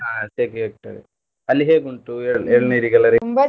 ಹಾ ಶೆಕೆ ಅಲ್ಲಿ ಹೇಗುಂಟು ಎಳ್~ ಎಳ್ನೀರಿಗೆಲ್ಲ ?